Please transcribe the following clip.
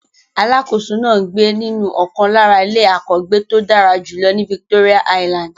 Alákòóso náà ń gbé nínú ọ̀kan lára ilé àkọ́gbéto dára jùlọ ní Victoria island.